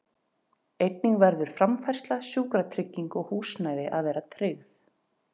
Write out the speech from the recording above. Einnig verður framfærsla, sjúkratrygging og húsnæði að vera tryggð.